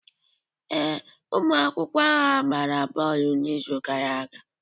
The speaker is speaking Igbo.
Ee, ụmụ akwụkwọ ahụ agbara bọọlụ n'izu gara aga.